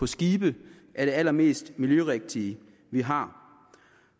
skibe er det allermest miljørigtige vi har